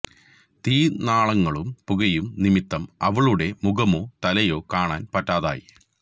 തീ നാളങ്ങളും പുകയും നിമിത്തം അവളുടെ മുഖമോ തലയോ കാണാൻ പറ്റാതെയായി